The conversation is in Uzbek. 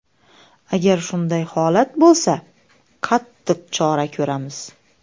Agar shunday holat bo‘lsa, qattiq chora ko‘ramiz.